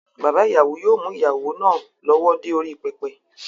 Bàbá ìyàwó yóò mú ìyàwó náà lọ́wọ́ dé orí pẹpẹ